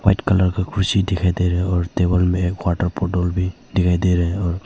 white colour का कुर्सी दिखाई दे रहा है और दीवार में वाटर बोतल भी दिखाई दे रहा है और--